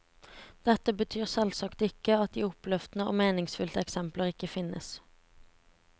Dette betyr selvsagt ikke at de oppløftende og meningsfylte eksempler ikke finnes.